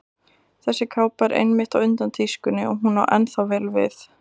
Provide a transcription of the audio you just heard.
Þessi kápa var einmitt á undan tískunni og hún á ennþá vel við.